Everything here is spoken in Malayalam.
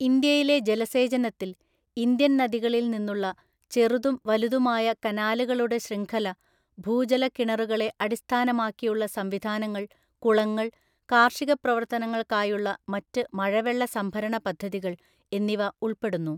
ഇന്ത്യയിലെ ജലസേചനത്തിൽ ഇന്ത്യൻ നദികളിൽ നിന്നുള്ള ചെറുതും വലുതുമായ കനാലുകളുടെ ശൃംഖല, ഭൂജല കിണറുകളെ അടിസ്ഥാനമാക്കിയുള്ള സംവിധാനങ്ങൾ, കുളങ്ങള്‍, കാർഷിക പ്രവർത്തനങ്ങൾക്കായുള്ള മറ്റ് മഴവെള്ള സംഭരണ പദ്ധതികൾ എന്നിവ ഉൾപ്പെടുന്നു.